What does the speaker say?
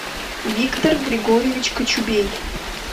виктор григорьевич кочубей